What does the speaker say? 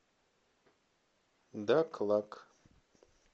даклак